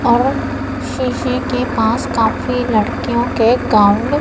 और शीशे के पास काफी लड़कियों के गाऊन --